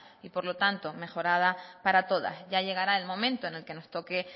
y por lo tanto mejorada para todas ya llegará el momento en el que nos toque